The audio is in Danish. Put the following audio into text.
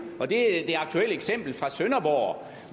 det er det aktuelle eksempel fra sønderborg